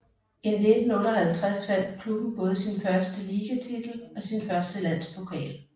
I 1958 vandt klubben både sin første ligatitel og sin første landspokal